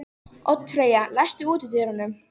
Oddfreyja, læstu útidyrunum.